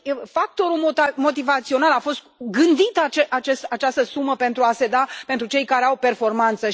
Factorul motivațional a fost gândită această sumă pentru a se da pentru cei care au performanță.